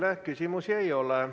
Teile küsimusi ei ole.